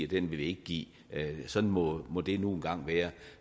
den vil vi ikke give sådan må må det nu engang være